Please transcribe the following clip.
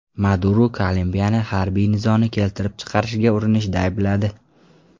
Maduro Kolumbiyani harbiy nizoni keltirib chiqarishga urinishda aybladi.